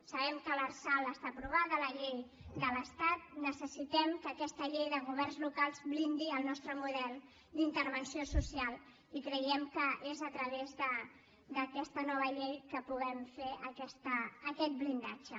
sabem que l’arsal està aprovada la llei de l’estat necessitem que aquesta llei de governs locals blindi el nostre model d’intervenció social i creiem que és a través d’aquesta nova llei que podem fer aquest blindatge